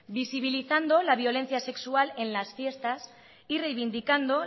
visibilizando la violencia sexual en las fiestas y reivindicando